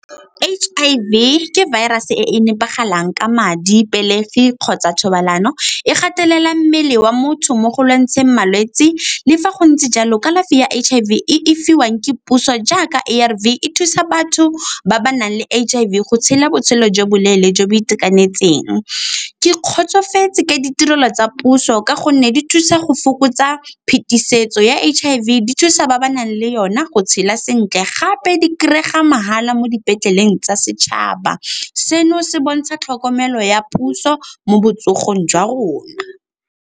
H_I_V ke virus-e e e nepagalang ka madi, pelegi kgotsa thobalano. E gatelela mmele wa motho mo go lwantsheng malwetse. Le fa go ntse jalo kalafi ya H_I_V e fiwang ke puso jaaka A_R_V e thusa batho ba ba nang le H_I_V go tshela botshelo jwa boleele jo bo itekanetseng. Ke kgotsofetse ka ditirelo tsa puso ka gonne di thusa go fokotsa phetisetso ya H_I_V, di thusa ba ba nang le yona go tshela sentle gape di kry-ega mahala mo dipetleleng tsa setšhaba. Seno se bontsha tlhokomelo ya puso mo botsogong jwa rona.